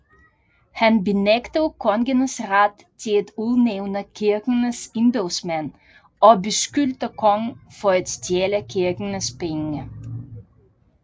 Han benægtede kongens ret til at udnævne kirkens embedsmænd og beskyldte kongen for at stjæle kirkens penge